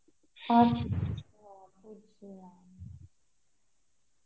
আর